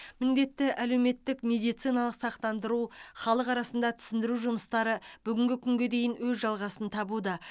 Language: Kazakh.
міндетті әлеуметтік медициналық сақтандыру халық арасында түсіндіру жұмыстары бүгінгі күнге дейін өз жалғасын табуда